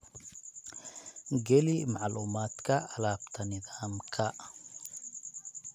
Geli macluumaadka alaabta nidaamka.